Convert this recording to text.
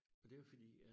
Og det var fordi at